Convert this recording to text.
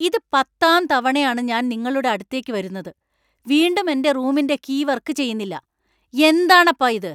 ഇത് പത്താം തവണയാണ് ഞാൻ നിങ്ങളുടെ അടുത്തേക്ക് വരുന്നത്. വീണ്ടും എന്‍റെ റൂമിന്‍റെ കീ വർക്ക് ചെയ്യൂന്നില്ല . എന്താണപ്പാ ഇത്?